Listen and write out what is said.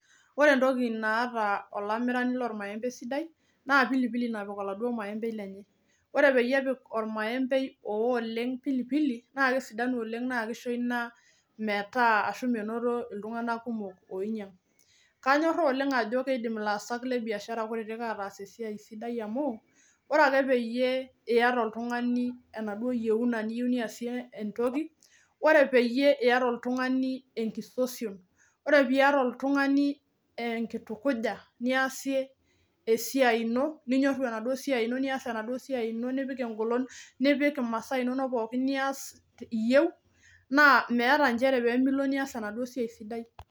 Ore entoki naata olamirani lormaembei sidai naa pilipili napik olaaduo maembei lenye. Ore peyie epik ormaembei owoo oleng' pilipili naake esidanu oleng' naake isho ina metaa menoto iltung'anak kumok oinyang'. Kanyoraa oleng' ajo kiidim ilaasak le biashara kutitik ataas esiai sidai amu ore ake peyie iyata oltung'ani enaduo yeuna niyeu niyasie entoki. Ore peyie iyata oltung'ani enkisosion, ore piiyata oltung'ani enkitukuja niasie esiai ino ninyoru enaduo siai ino , nias enaduo siai ino nipik eng'olon, nipik imasaa inonok pookin niyas iyeu naa miyata inchere pee milo nias enaduo siai sidai.